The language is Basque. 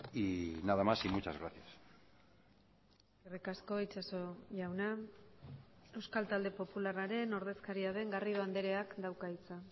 y nada más y muchas gracias eskerrik asko itxaso jauna euskal talde popularraren ordezkaria den garrido andreak dauka hitza